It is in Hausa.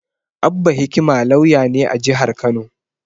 Abba Hikima lauya ne a jihar Kano.